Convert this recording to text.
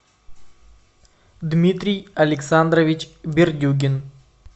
дмитрий александрович бердюгин